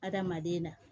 Adamaden na